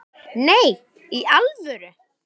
Nei, í alvöru